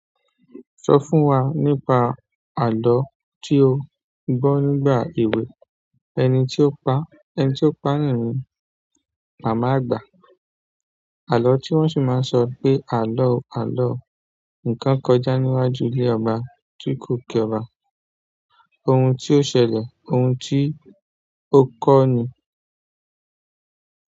Sọ fún wa nípa àlọ́ tí o gbọ́ nígbà èwe, ẹni tí ó paá. Ẹni tí ó pa nóòni màmá àgbà. Àlọ́ tí wọ́n sì máa ń sọ pé, àló o àló o, ǹkan kọjá níwájú ilé ọba tí kò kí ọba. Ohun tí ó ṣẹlẹ̀, ohun tí ó kọ́ ni.